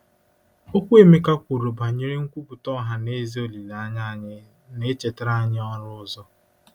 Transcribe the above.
Okwu Emeka kwuru banyere "nkwupụta ọha na eze olileanya anyị" na-echetara anyị ọrụ ọzọ.